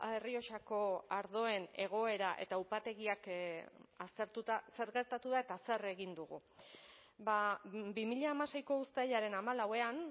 errioxako ardoen egoera eta upategiak aztertuta zer gertatu da eta zer egin dugu bi mila hamaseiko uztailaren hamalauan